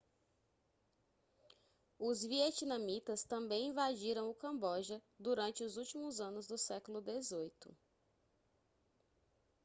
os vietnamitas também invadiram o camboja durante os últimos anos do século xviii